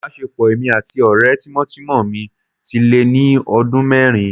Ìbáṣepọ̀ èmi àti ọ̀rẹ́ tímọ́tímọ́ mi ti lé ní ọdún mẹ́rin